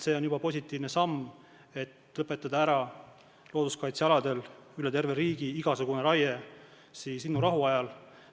See on juba positiivne samm, kui looduskaitsealadel üle terve riigi lõpetatakse igasugune raie linnurahu ajal.